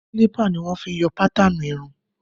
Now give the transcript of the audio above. Kílípà ni wọn fi ń yọ pátaanù irun.